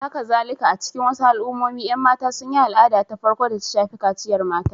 Hakazalika, a cikin wasu al'ummomi, ƴan mata sun yi al'ada ta farko da ta shafi kaciyar mata.